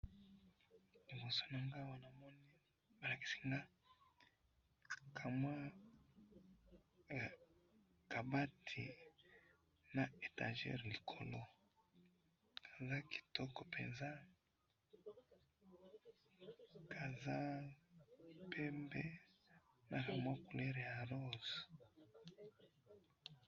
liboso nangayi awa balakisi ngayi kamwa kabati naba etagere likolo eza kitoko penza kaza pembe na kamwa couleur ya rose.